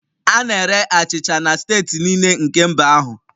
A na-ere achịcha na steeti niile nke mba ahụ